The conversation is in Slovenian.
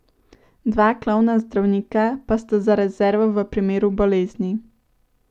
Dva klovna zdravnika pa sta za rezervo v primeru bolezni.